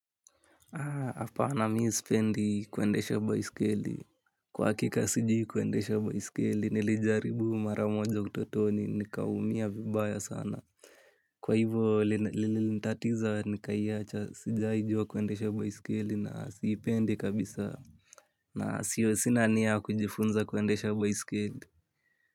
Hapana mimi sipendi kuendesha baiskeli. Kwa hakika sijui kuendesha baiskeli nilijaribu maramoja utotoni nikaumia vibaya sana. Kwa hivyo lilinitatiza nikaiwacha sijawahi jua kuendesha baiskeli na siipendi kabisa. Na sina nia ya kujifunza kuendesha baiskeli.